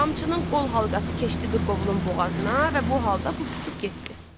Qamçının qol halqası keçdi qırqovulun boğazına və bu halda quş uçub getdi.